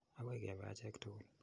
Akoi kepe achek tukul.